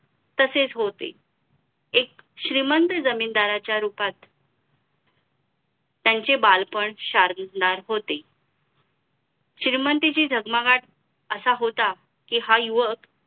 तसेच होते एक श्रीमंत जमीनदाराच्या रूपात त्यांचे बालपण शार बुकणार होते श्रीमंतीची जगमगाट असा होता कि हा युवक